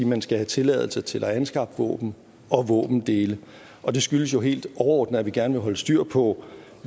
man skal have tilladelse til at anskaffe våben og våbendele og det skyldes jo helt overordnet at vi gerne vil holde styr på